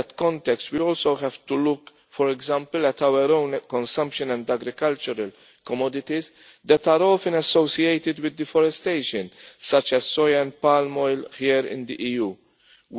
In that context we also have to look, for example, at our own consumption and agricultural commodities that are often associated with deforestation, such as soybean and palm oil here in the EU.